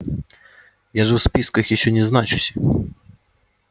я же в списках ещё не значусь